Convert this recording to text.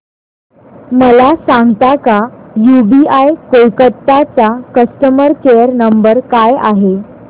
मला सांगता का यूबीआय कोलकता चा कस्टमर केयर नंबर काय आहे